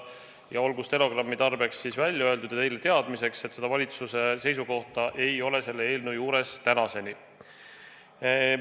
Ja olgu stenogrammi tarbeks välja öeldud ja teile teadmiseks, et seda valitsuse seisukohta ei ole tänaseni.